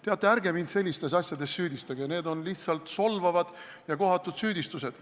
Teate, ärge mind sellistes asjades süüdistage, need on lihtsalt solvavad ja kohatud süüdistused.